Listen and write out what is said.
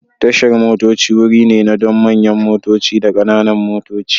Tashar motoci wuri ne na don manyan motoci da kananan motoci.